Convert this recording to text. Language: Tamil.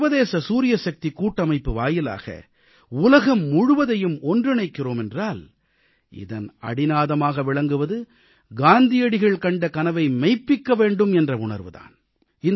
சர்வதேச சூரியசக்திக் கூட்டமைப்பு வாயிலாக உலகம் முழுவதையும் ஒன்றிணைக்கிறோம் என்றால் இதன் அடிநாதமாக விளங்குவது காந்தியடிகள் கண்ட கனவை மெய்ப்பிக்க வேண்டும் என்ற உணர்வு தான்